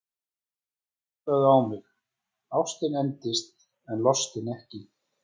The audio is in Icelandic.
Hlustaðu nú á mig: Ástin endist en lostinn ekki!